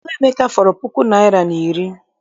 Ego Emeka fọrọ puku naịra na iri.